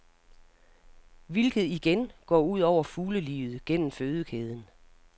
Hvilket igen går ud over fuglelivet gennem fødekæden.